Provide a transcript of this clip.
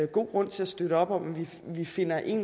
god grund til at støtte op om at vi finder en